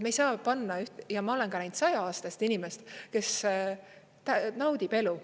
Me ei saa panna, ja ma olen ka näinud 100-aastast inimest, kes naudib elu.